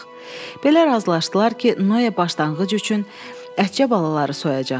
Belə razılaşdılar ki, Noya başlanğıc üçün ətcə balaları soyacaq.